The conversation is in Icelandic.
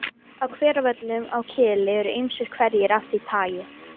Á Hveravöllum á Kili eru ýmsir hverir af því tagi.